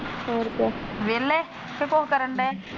ਹੋਰ ਕਿਆ ਵਿਹਲੇ ਕ ਕੁਝ ਕਰਨਡੇ?